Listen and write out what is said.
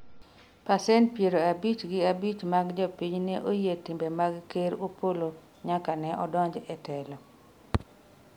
pasent piero abich gi abich mag jopiny ne oyie timbe mag ker Opollo nyaka ne odonji e telo